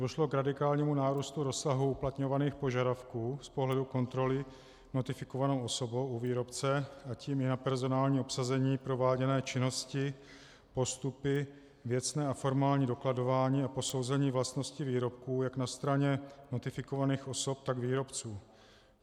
Došlo k radikálnímu nárůstu rozsahu uplatňovaných požadavků z pohledu kontroly notifikovanou osobou u výrobce, a tím i na personální obsazení, prováděné činnosti, postupy, věcné a formální dokladování a posouzení vlastností výrobků jak na straně notifikovaných osob, tak výrobců.